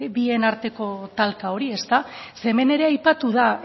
bien arteko talka hori ezta ze hemen ere aipatu da